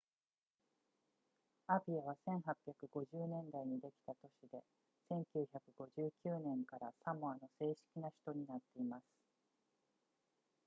アピアは1850年代にできた都市で1959年からサモアの正式な首都になっています